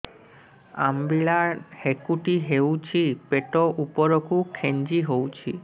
ଅମ୍ବିଳା ହେକୁଟୀ ହେଉଛି ପେଟ ଉପରକୁ ଖେଞ୍ଚି ହଉଚି